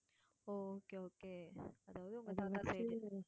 ஓ okay okay அதாவது உங்க தாத்தா side உ